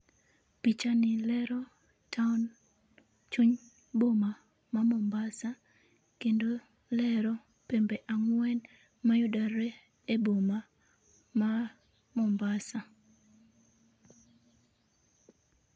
Pichani lero town, chuny boma ma Mombasa kendo olero pembe angwen mayudore e boma ma Mombasa